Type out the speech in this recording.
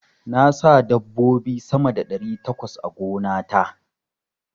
Na sa dabbobi sama da ɗari takwas a gona ta.